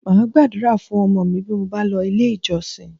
Máa Gbàdúrà fún ọmọ mi bí mo bá lọ ilé ìjọsìn